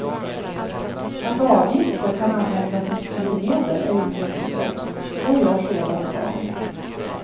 Att avgifter kan användas som styrmedel är ingen nyhet, så görs redan idag.